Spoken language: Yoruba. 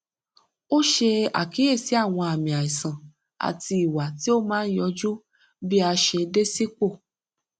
ó ṣe àkíyèsí àwọn àmì àìsàn àti ìwà tí ó máa ń yọjú bí a ṣe dé sípò